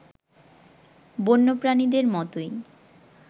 বন্যপ্রাণীদের মতোই